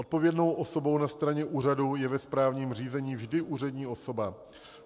Odpovědnou osobou na straně úřadu je ve správním řízení vždy úřední osoba.